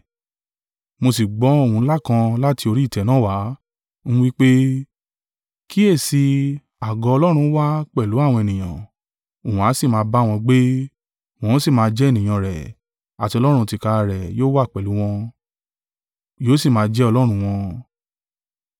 Mo sì gbọ́ ohùn ńlá kan láti orí ìtẹ́ náà wá, ń wí pé, “Kíyèsi i, àgọ́ Ọlọ́run wà pẹ̀lú àwọn ènìyàn, òun ó sì máa bá wọn gbé, wọn ó sì máa jẹ́ ènìyàn rẹ̀, àti Ọlọ́run tìkára rẹ̀ yóò wà pẹ̀lú wọn, yóò sì máa jẹ́ Ọlọ́run wọn.